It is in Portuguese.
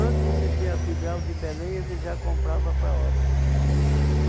de ter a filial de Belém, ele já comprava para Óbidos.